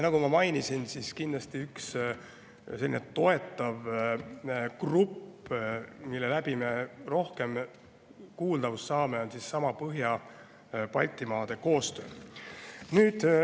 Nagu ma mainisin, on kindlasti üks selline toetav grupp Põhja-Balti koostöö, mille abil me saame rohkem kuuldavust.